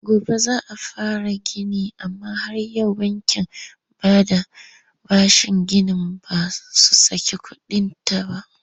Gobe za a fara gini amma har yau bankin bada bashin ginin ba su saki kuɗinta ba.